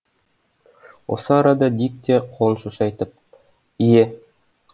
осы арада дик те қолын шошайтып ие